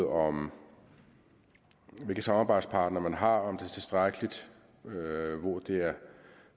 om hvilke samarbejdspartnere man har om det er tilstrækkeligt og det er